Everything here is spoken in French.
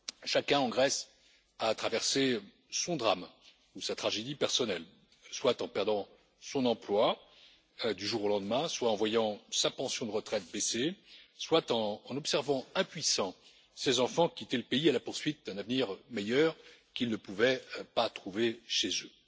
Chacun en Grèce a traversé son drame ou sa tragédie personnelle, soit en perdant son emploi du jour au lendemain, soit en voyant sa pension de retraite baisser, soit en en observant, impuissant, ses enfants quitter le pays à la poursuite d'un avenir meilleur qu'ils ne pouvaient pas trouver chez eux.